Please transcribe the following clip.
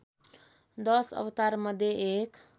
दश अवतारमध्ये एक